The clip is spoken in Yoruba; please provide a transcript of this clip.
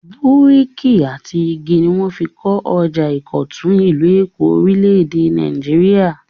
Búríkì àti igi ni wọ́n fi kọ ọjà ìkọ̀tún, ìlú Èkó, orílẹ̀-èdè Nàìjíríà.